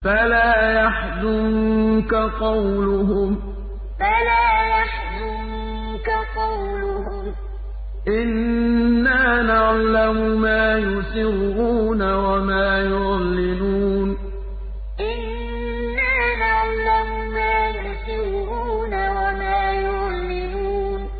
فَلَا يَحْزُنكَ قَوْلُهُمْ ۘ إِنَّا نَعْلَمُ مَا يُسِرُّونَ وَمَا يُعْلِنُونَ فَلَا يَحْزُنكَ قَوْلُهُمْ ۘ إِنَّا نَعْلَمُ مَا يُسِرُّونَ وَمَا يُعْلِنُونَ